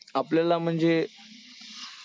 आपल्याला म्हणजे